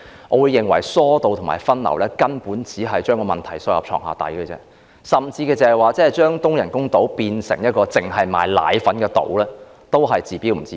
我認為，疏導和分流旅客只是將問題"掃到床下底"，而即使將東人工島變成一個只售賣奶粉的島，亦只是"治標不治本"。